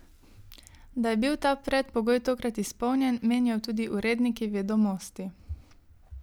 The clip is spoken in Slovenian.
Da je bil ta predpogoj tokrat izpolnjen, menijo tudi uredniki Vedomosti.